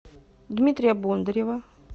дмитрия бондарева